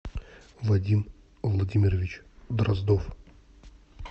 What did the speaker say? вадим владимирович дроздов